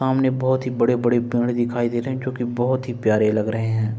सामने बोहोत ही बड़े-बड़े पेड़ दिखाई दे रहे हैं जोकि बोहोत ही प्यारे लग रहे है।